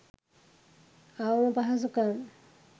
අවම පහසුකම්